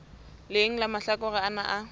leng la mahlakore ana a